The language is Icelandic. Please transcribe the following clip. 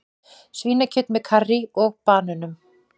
Svínakjöt með karrí og banönum